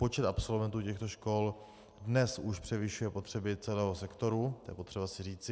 Počet absolventů těchto škol dnes už převyšuje potřeby celého sektoru, to je potřeba si říci.